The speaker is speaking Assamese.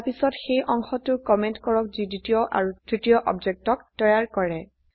তাৰপিছয়ত সেই অংশটো কমেন্ট কৰক যি দ্বিতীয় আৰু তৃতীয় অবজেক্টক তৈয়াৰ কৰে